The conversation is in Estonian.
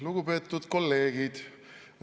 Lugupeetud kolleegid!